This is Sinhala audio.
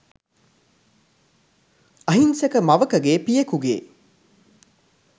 අහිංසක මවකගේ පියෙකුගේ